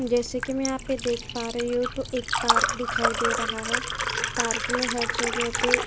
जैसे कि मैं यहां देख पा रही हूं तो एक पार्क दिखाई दे रहा है। पार्क में हर जगह पे --